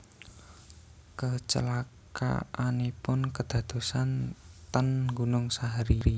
Kecelakaanipun kedadosan ten Gunung Sahari